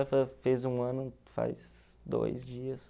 Ela fez um ano faz dois dias.